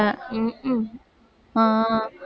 ஹம் உம் ஆஹ்